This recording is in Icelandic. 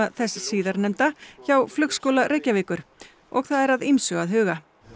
þess síðarnefnda hjá Flugskóla Reykjavíkur og það er að ýmsu að huga